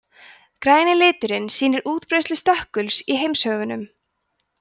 græni liturinn sýnir útbreiðslu stökkuls í heimshöfunum